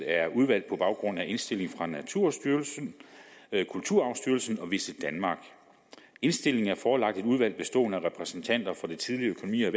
er udvalgt på baggrund af indstilling fra naturstyrelsen kulturarvsstyrelsen og visitdenmark indstillingen er forelagt et udvalg bestående af repræsentanter for det tidligere